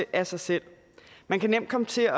af sig selv man kan nemt komme til at